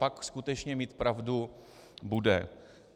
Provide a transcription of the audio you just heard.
Pak skutečně mít pravdu bude.